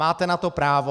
Máte na to právo.